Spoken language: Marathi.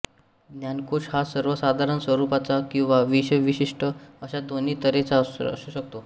ज्ञानकोश हा सर्वसाधारण स्वरूपाचा किंवा विषयविशिष्ट अशा दोन्ही तऱ्हेचा असू शकतो